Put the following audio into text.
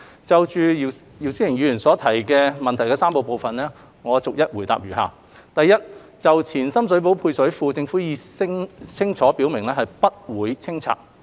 就姚思榮議員質詢的3個部分，我逐一答覆如下：一就前深水埗配水庫，政府已清楚表明不會清拆。